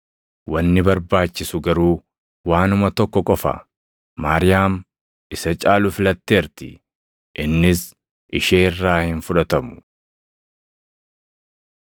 Wanni barbaachisu garuu waanuma tokko qofa; Maariyaam isa caalu filatteerti; innis ishee irraa hin fudhatamu.”